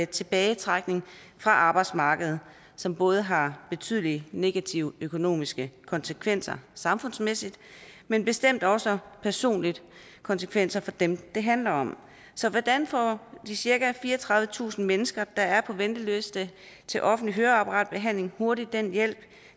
tilbagetrækning fra arbejdsmarkedet som både har betydelige negative økonomiske konsekvenser samfundsmæssigt men bestemt også personlige konsekvenser for dem det handler om så hvordan får de cirka fireogtredivetusind mennesker der er på venteliste til offentlig høreapparatbehandling hurtigt den hjælp